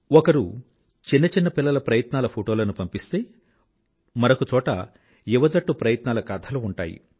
ఒకరు చిన్న చిన్న పిల్లల ప్రయత్నాల ఫోటోలను పంపిస్తే మరొక చోట యువ జట్టు ప్రయత్నాల కథలు ఉంటాయి